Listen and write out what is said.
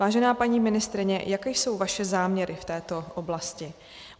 Vážená paní ministryně, jaké jsou vaše záměry v této oblasti?